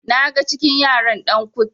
naga cikin yaran Dan kut